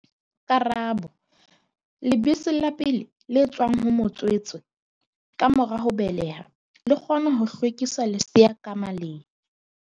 Karabo- Lebese la pele le tswang ho motswetse ka mora ho beleha, le kgona ho hlwekisa lesea ka maleng.